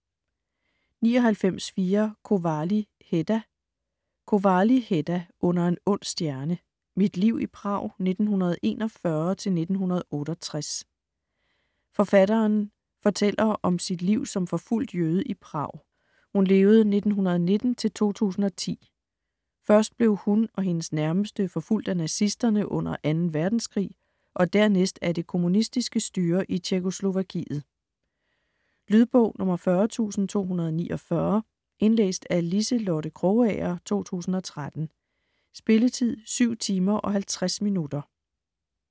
99.4 Kovály, Heda Kovály, Heda: Under en ond stjerne: mit liv i Prag 1941-1968 Forfatteren (1919-2010) fortælleren om sit liv som forfulgt jøde i Prag. Først blev hun og hendes nærmeste forfulgt af nazisterne under 2. verdenskrig og dernæst af det kommunistiske styre i Tjekkoslovakiet. Lydbog 40249 Indlæst af Liselotte Krogager, 2013. Spilletid: 7 timer, 50 minutter.